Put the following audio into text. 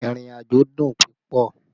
Ìrìnàjò dùn púpọ̀